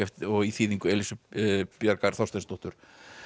í þýðingu Elísu Bjargar Þorsteinsdóttur